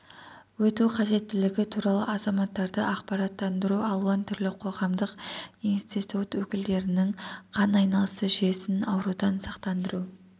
өту қажеттілігі туралы азаматтарды ақпараттандыру алуан түрлі қоғамдық институт өкілдерінің қан айналысы жүйесін аурудан сақтандыру